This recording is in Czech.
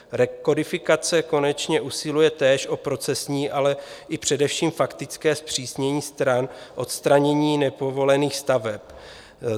Rekodifikace konečně usiluje též o procesní, ale i především faktické zpřísnění stran odstranění nepovolených staveb.